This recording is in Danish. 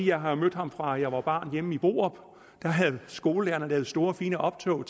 jeg har mødt ham fra jeg var barn hjemme i borup da havde skolelærerne lavet store fine optog